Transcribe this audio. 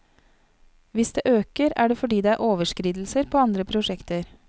Hvis det øker, er det fordi det er overskridelser på andre prosjekter.